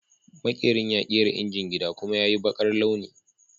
Maƙerin ya kera injin gida, kuma ya yi baƙar launi